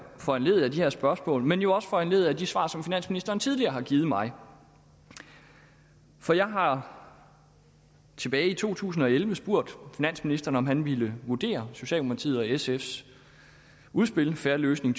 foranlediget af de her spørgsmål men jo også foranlediget af de svar som finansministeren tidligere har givet mig for jeg har tilbage i to tusind og elleve spurgt finansministeren om han ville vurdere socialdemokratiet og sfs udspil fair løsning